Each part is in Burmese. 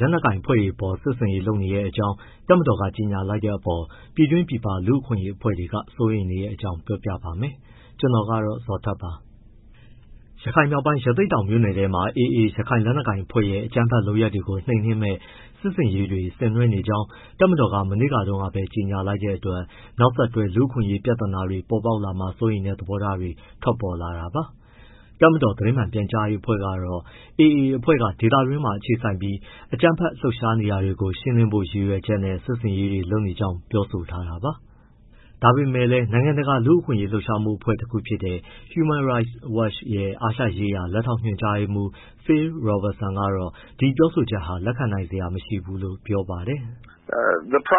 လက်နက်ကိုင်အဖွဲ့အပေါ် စစ်ဆင်ရေးလုပ်နေတဲ့အကြောင်း တပ်မတော်က ကြေညာလိုက်တဲ့အပေါ် ပြည်တွင်းပြည်ပ လူ့အခွင့်အရေးအဖွဲ့တွေ စိုးရိမ်နေတဲ့အကြောင်းကို ဗွီအိုအေမြန်မာပိုင်းသတင်းထောက် ကိုဇော်ထက်က ပြောပြပါမယ်။ ရခိုင်မြောက်ပိုင်း ရသေ့တောင်မြို့နယ်ထဲမှာ AA ရခိုင်လက်နက်ကိုင်အဖွဲ့ရဲ့ အကြမ်းဖက် လုပ်ရပ်တွေကို နှိမ်နင်းမယ့် စစ်ဆင်ရေးတွေ ဆင်နွှဲနေကြောင်း တပ်မတော်က မနေ့တုန်းကပဲ ကြေညာလိုက်တဲ့အတွက် နောက်ဆက်တွဲ လူ့အခွင့်အရေး ပြဿနာတွေ ပေါ်ပေါက်လာမှာ စိုးရိမ်တဲ့ သဘောထားတွေ ထွက်ပေါ်လာတာပါ။ တပ်မတော် သတင်းမှန်ပြန်ကြားရေးအဖွဲ့ကတော့ AA အဖွဲ့က ဒေသတွင်းမှာ အခြေစိုက်ပြီး အကြမ်းဖက်လှုပ်ရှားနေတာတွေကို ရှင်းလင်းဖို့ ရည်ရွယ်ချက်နဲ့ စစ်ဆင်ရေးတွေလုပ်နေကြောင်း ပြောဆိုထားတာပါ။ ဒါပေမဲ့လည်း နိုင်ငံတကာ လူ့အခွင့်အရေးလှုပ်ရှားမှု အဖွဲ့တခုဖြစ်တဲ့ Human Rights Watch ရဲ့ အာရှရေးရာ လက်ထောက်ညွှန်ကြားရေးမှူး Phil Robertson ကတော့ ဒီပြောဆိုချက်ဟာ လက်ခံနိုင်စရာ မရှိဘူးလို့ ပြောပါတယ်။ "ရခိ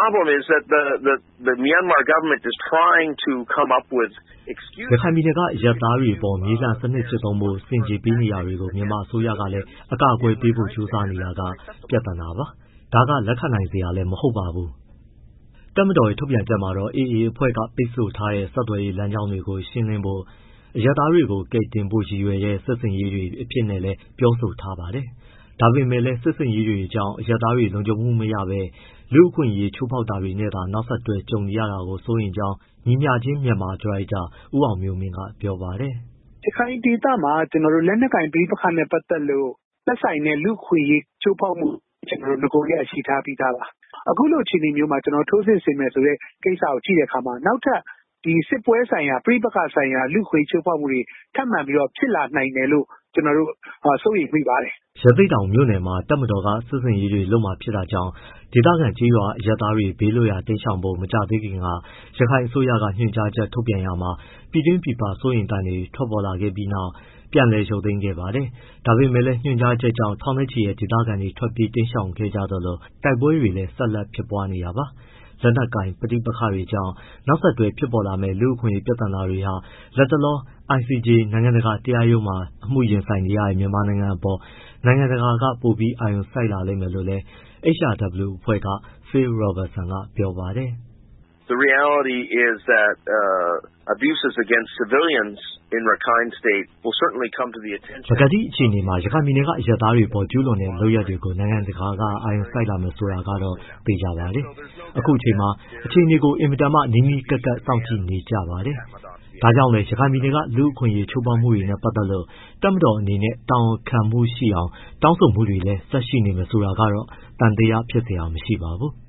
ုင်ပြည်နယ်က အရပ်သားတွေအပေါ် မြေလှန်စနစ်ကျင့်သုံးဖို့ ဆင်ခြေပေးနေတာတွေကို မြန်မာအစိုးရကလည်း အကာအကွယ်ပေးဖို့ ကြိုးစားနေတာက ပြဿနာပါ။ ဒါဟာလက်ခံနိုင်စရာလည်း မဟုတ်ပါဘူး။" တပ်မတော်ရဲ့ ထုတ်ပြန်ချက်မှာတော့ AA အဖွဲ့က ပိတ်ဆို့ထားတဲ့ ဆက်သွယ်ရေးလမ်းကြောင်းတွေကို ရှင်းလင်းဖို့၊ အရပ်သားတွေကို ကယ်တင်ဖို့ ရည်ရွယ်တဲ့ စစ်ဆင်ရေးတွေ အဖြစ်နဲ့လည်း ပြောဆိုထားပါတယ်။ ဒါပေမဲ့လည်း စစ်ဆင်ရေးတွေကြောင့် အရပ်သားတွေ လုံခြုံမှုမရပဲ လူ့အခွင့်အရေးချိုးဖောက်မှုတွေနဲ့သာ နောက်ဆက်တွဲ ကြုံရမှာကို စိုးရိမ်ကြောင်း ညီမျှခြင်းမြန်မာ ဒါရိုက်တာ ဦးအောင်မျိုးမင်းက ပြောပါတယ်။ "ရခိုင်ဒေသမှာ လက်နက်ကိုင် ပဋိပက္ခနဲ့ပတ်သက်လို့ သက်ဆိုင်တဲ့ လူ့အခွင့်အရေးချိုးဖောက်မှု နဂိုကတည်းက ရှိထားပြီးသားပါ။ အခုလိုအခြေအနေမျိုးမှာ ထိုးစစ်ဆင်မယ်ဆိုတဲ့ကိစ္စကို ကြည့်တဲ့အခါမှာ နောက်ထပ် စစ်ပွဲဆိုင်ရာ၊ ပဋိပက္ခဆိုင်ရာ လူ့အခွင့်အရေး ချိုးဖောက်မှုတွေ ထပ်မံပြီး ဖြစ်လာနိုင်တယ်လို့ ကျနော်တို့ စိုးရိမ်မိပါတယ်။" ရသေ့တောင်မြို့နယ်မှာ တပ်မတော်က စစ်ဆင်ရေးတွေ လုပ်မှာ ဖြစ်တာကြောင့် ဒေသခံကျေးရွာက အရပ်သားတွေ ဘေးလွတ်ရာ တိမ်းရှောင်ဖို့ မကြာသေးခင်က ရခိုင်အစိုးရက ညွှန်ကြားချက်ထုတ်ပြန်ရာမှာ ပြည်တွင်းပြည်ပက စိုးရိမ်သံတွေ ထွက်ပေါ်ခဲ့ပြီးနောက် ပြန်လည်ရုပ်သိမ်းခဲ့ပါတယ်။ ဒါပေမဲ့လည်း ညွှန်ကြားချက်ကြောင့် ထောင်နဲ့ချီတဲ့ ဒေသခံတွေ ထွက်ပြေးတိမ်းရှောင်ခဲ့ကြသလို တိုက်ပွဲတွေလည်း ဆက်လက် ဖြစ်ပွားနေတာပါ။ လက်နက်ကိုင် ပဋိပက္ခတွေကြောင့် နောက်ဆက်တွဲ ပေါ်ပေါက်လာမယ့် လူ့အခွင့်အရေး ပြဿနာတွေဟာ လတ်တလော ICJ နိုင်ငံတကာ တရားရုံးမှာ အမှုရင်ဆိုင်နေရတဲ့ မြန်မာနိုင်ငံအပေါ် နိုင်ငံတကာက ပိုပြီးအာရုံစိုက်လာလိမ့်မယ်လို့လည်း HRW အဖွဲ့က Phil Robertson ကပြောပါတယ်။ "ပကတိအခြေအနေမှာ ရခိုင်ပြည်နယ်က အရပ်သားတွေအပေါ် ကျုးလွန်တဲ့လုပ်ရပ်တွေကို နိုင်ငံတကာက အာရုံစိုက်လာမယ် ဆိုတာကတော့ သေချာပါတယ်။ အခုအချိန်မှာ အခြေအနေကို အင်မတန်မှ နီးနီးကပ်ကပ် စောင့်ကြည့်နေကြပါတယ်။ ဒါကြောင့်လည်း ရခိုင်ပြည်နယ်က လူ့အခွင့်အရေး ချိုးဖောက်မှုတွေနဲ့ ပတ်သက်လို့ တပ်မတော်အနေနဲ့ တာဝန်ခံမှုရှိအောင် တောင်းဆိုမှုတွေလည်း ဆက်ရှိနေမယ်ဆိုတာကတော့ သံသယဖြစ်စရာ မရှိပါဘူး။ "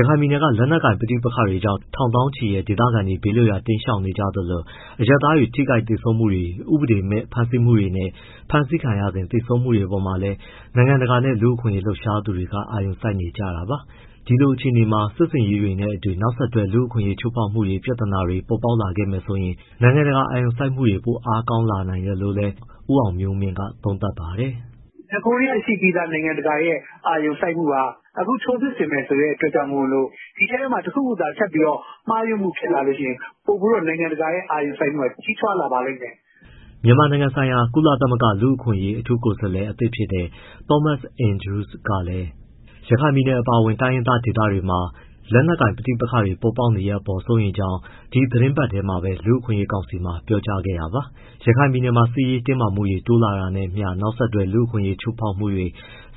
ရခိုင်ပြည်နယ်က လက်နက်ကိုင် ပဋိပက္ခတွေကြောင့် ထောင်သောင်းချီတဲ့ ဒေသခံတွေ ဘေးလွတ်ရာ တိမ်းရှောင်နေကြရသလို အရပ်သားတွေ ထိခိုက်သေဆုံးမှုတွေ၊ ဥပဒေမဲ့ ဖမ်းဆီးမှုတွေနဲ့ ဖမ်းဆီးခံရစဉ် သေဆုံးမှုတွေအပေါ်မှာလည်း နိုင်ငံတကာနဲ့ လူ့အခွင့်အရေး လှုပ်ရှားသူတွေ အာရုံစိုက်နေကြတာပါ။ ဒီလိုအခြေအနေမှာ စစ်ဆင်ရေးတွေနဲ့အတူ နောက်ဆက်တွဲ လူ့အခွင့်အရေး ချိုးဖောက်မှု ပြဿနာတွေ ပေါ်ပေါက်လာခဲ့မယ်ဆိုရင်တော့ နိုင်ငံတကာ အာရုံစိုက်မှုတွေ ပိုအားကောင်းလာနိုင်တယ်လို့လည်း ဦးအောင်မျိုးမင်းက သုံးသပ်ပါတယ်။ "နဂိုကတည်းက ရှိပြီးသားနိုင်ငံတကာရဲ့ အာရုံစိုက်မှုက၊ အခု ထိုးစစ်ဆင်မယ်ဆိုတဲ့ အတွက်ကြောင့်မို့ ဒီအထဲမှာ တခုခုသာထပ်ပြီးတော့ မှားယွင်းမှုဖြစ်လာရင် ပိုပြီးတော့ နိုင်ငံတကာရဲ့ အာရုံစိုက်မှုက ပိုပြီးကြီးထွားလာပါလိမ့်မယ်။" မြန်မာနိုင်ငံဆိုင်ရာ ကုလသမဂ္ဂ လူ့အခွင့်အရေး အထူးကိုယ်စားလှယ် အသစ်ဖြစ်တဲ့ Thomas Andrews ကလည်း ရခိုင်ပြည်နယ် အပါအဝင် တိုင်းရင်းသား ဒေသတွေမှာ လက်နက်ကိုင် ပဋိပက္ခတွေ ပေါ်ပေါက်နေတဲ့အပေါ် စိုးရိမ်ကြောင်း ဒီသီတင်းပတ်ထဲမှာပဲ လူ့အခွင့်အရေးကောင်စီမှာ ပြောကြားခဲ့တာပါ။ ရခိုင်ပြည်နယ်မှာ စစ်ရေးတင်းမာမှုတွေ တိုးလာတာနဲ့အမျှ နောက်ဆက်တွဲ လူ့အခွင့်အရေး ချိုးဖောက်မှုတွေ၊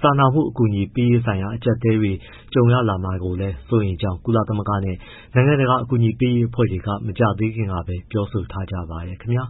စာနာမှုအကူအညီပေးရေးဆိုင်ရာ အကျပ်အတည်းတွေ ကြုံရမှာကို စိုးရိမ်ကြောင်းလည်း ကုလသမဂ္ဂနဲ့ နိုင်ငံတကာ အကူအညီပေးရေး အဖွဲ့အစည်းတွေ မကြာသေးခင်ကပဲ ပြောဆိုထားကြပါတယ်ခင်ဗျာ